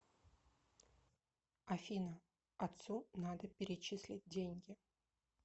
афина отцу надо перечислить деньги